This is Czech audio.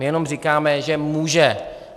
My jenom říkáme, že může.